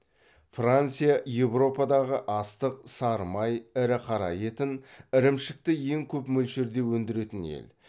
франция еуропадағы астық сары май ірі қара етін ірімшікті ең көп мөлшерде өндіретін ел